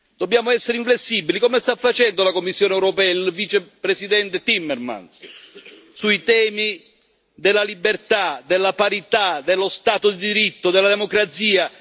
Dobbiamo essere inflessibili, come sta facendo la Commissione europea, il Vicepresidente Timmermans, sui temi della libertà, della parità, dello Stato di diritto, della democrazia.